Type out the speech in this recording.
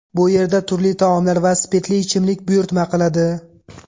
Bu yerda turli taomlar va spirtli ichimlik buyurtma qiladi.